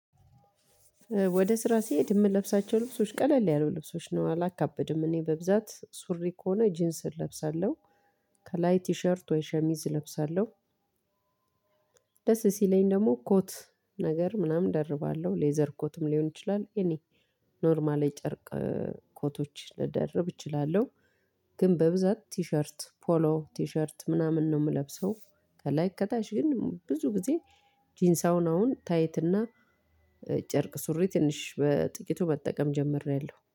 ወደ ስራ ሲሄድ የምለብሳቸው ልብሶች ቀለል ያሉ ልብሶች ነው አላካብድም እኔ በብዛት ሱሪ ከሆነ ጂንስ እለብሳለሁ። ከላይ ቲሸርት ወይ ሸሚዝ እለብሳለሁ። ደስ ሲለኝ ደግሞ ኮት ነገር ምናምን እደርባለሁ ሌዘር ኮትም ሊሆን ይችላል። የኔ ኖርማል የጨርቅ ኮቶች ልደርብ እችላለሁ። ግን በብዛት ቲሸርት ፖሎ ቲሸርት ምናምን ነው የምለብሰው። ከላይ ከታች ግን ብዙ ጊዜ ጂንስ አሁን አሁን ታይትና ጨርቅ ሱሪ ትንሽ በጥቂቱ መጠቀም ጀምሬያለሁ